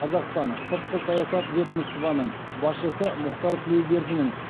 қазақстан сыртқы саясат ведомствоның басшысы мұхтар тілеубердінің